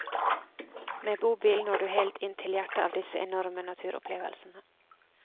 Med bobil når du helt inn til hjertet av disse enorme naturopplevelsene.